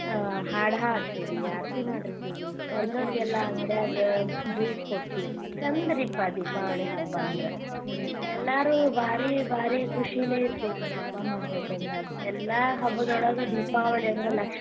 ಆ ಹಾಡ ಹಾಡ್ತೀವಿ ಆರ್ತಿ ಮಾಡಿರ್ತೀವಿ ಬಂದೋರಿಗೆಲ್ಲಾ ಅಂಗಡ್ಯಾಗ juice ಕೊಡ್ತಿವಿ ಚಂದ ರೀ ಪಾ ಅದ ದೀಪಾವಳಿ ಹಬ್ಬ ಅಂದ್ರ ಹುಮ್ಮ್ ಎಲ್ಲಾರು ಬಾರಿ ಬಾರಿ ಕುಶಿಲೇ ಇರ್ತಿವಿ ಹಬ್ಬಾ ಮಾಡ್ಬೇಕ ಅಂದಾಗ ಎಲ್ಲಾ ಹಬ್ಬದೊಳಗ ದೀಪಾವಳಿ ಅಂದ್ರ